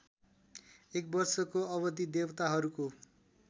एकवर्षको अवधि देवताहरूको